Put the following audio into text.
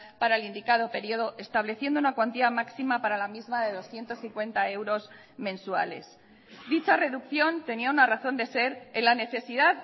para el indicado periodo estableciendo una cuantía máxima para la misma de doscientos cincuenta euros mensuales dicha reducción tenía una razón de ser en la necesidad